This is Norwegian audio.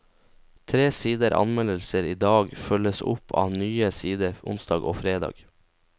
Tre sider anmeldelser i dag følges opp av nye sider onsdag og fredag.